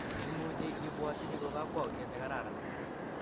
Imuchi ibwatyini ko kakwautiet ne kararan.